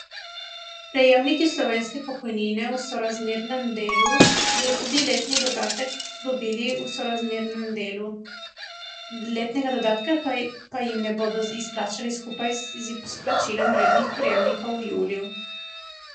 Prejemniki slovenske pokojnine v sorazmernem delu bodo tudi letni dodatek dobili v sorazmernem delu, letnega dodatka pa jim ne bodo izplačali skupaj z izplačilom rednih prejemkov v juliju.